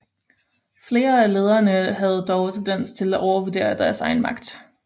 Flere af lederne havde dog tendens til at overvurdere deres egen magt